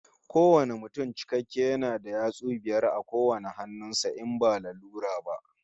Kowane mutum cikakke yana da yatsu biyar a kowane hannun sa, in ba lalura ba